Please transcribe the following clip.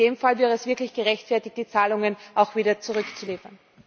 In dem Fall wäre es wirklich gerechtfertigt, die Zahlungen auch wieder zurückzuliefern.